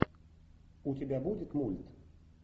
у тебя будет мульт